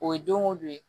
O ye don ko don ye